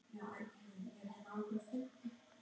Hrund: Hvar eru þeir?